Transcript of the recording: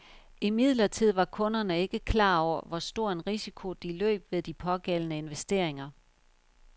Imidlertid var kunderne ikke klar over, hvor stor en risiko de løb ved de pågældende investeringer.